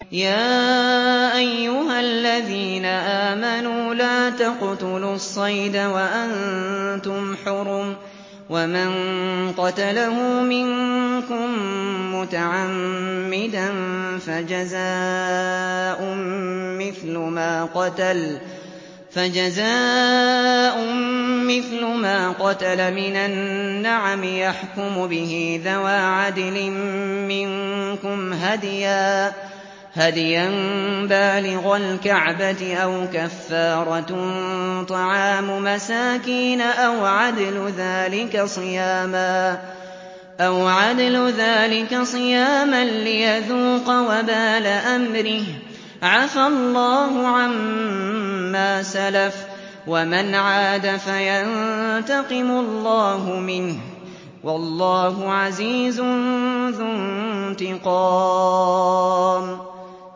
يَا أَيُّهَا الَّذِينَ آمَنُوا لَا تَقْتُلُوا الصَّيْدَ وَأَنتُمْ حُرُمٌ ۚ وَمَن قَتَلَهُ مِنكُم مُّتَعَمِّدًا فَجَزَاءٌ مِّثْلُ مَا قَتَلَ مِنَ النَّعَمِ يَحْكُمُ بِهِ ذَوَا عَدْلٍ مِّنكُمْ هَدْيًا بَالِغَ الْكَعْبَةِ أَوْ كَفَّارَةٌ طَعَامُ مَسَاكِينَ أَوْ عَدْلُ ذَٰلِكَ صِيَامًا لِّيَذُوقَ وَبَالَ أَمْرِهِ ۗ عَفَا اللَّهُ عَمَّا سَلَفَ ۚ وَمَنْ عَادَ فَيَنتَقِمُ اللَّهُ مِنْهُ ۗ وَاللَّهُ عَزِيزٌ ذُو انتِقَامٍ